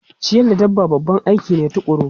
Ciyar da dabba aiki ne tukuru.